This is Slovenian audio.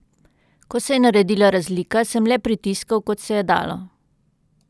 Ko se je naredila razlika, sem le pritiskal, kot se je dalo.